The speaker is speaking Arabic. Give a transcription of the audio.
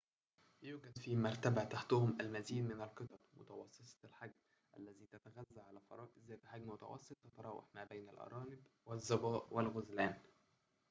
يوجد في مرتبة تحتهم المزيد من القطط متوسطة الحجم التي تتغذى على فرائس ذات حجم متوسط تتراوح ما بين الأرانب والظباء والغزلان